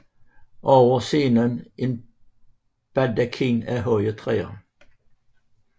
Over scenen en baldakin af høje træer